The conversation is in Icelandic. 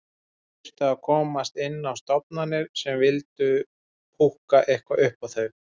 Þau þyrftu að komast inn á stofnanir sem vildu púkka eitthvað upp á þau.